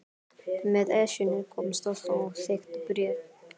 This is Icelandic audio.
Með Esjunni kom stórt og þykkt bréf.